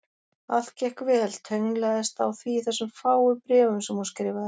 Allt gekk vel, tönnlaðist á því í þessum fáu bréfum sem hún skrifaði.